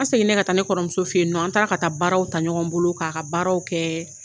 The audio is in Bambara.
An seginna segin ne ka taa ne kɔrɔmuso fɛ yen nɔ an taara ka taa baaraw ta ɲɔgɔn bolo k'a ka baaraw kɛ